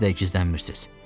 Niyə siz də gizlənmirsiz?